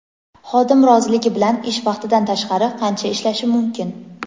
Xodim roziligi bilan ish vaqtidan tashqari qancha ishlashi mumkin?.